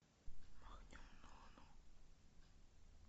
махнем на луну